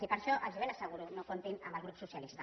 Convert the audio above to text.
i per a això els ho ben asseguro no comptin amb el grup socialista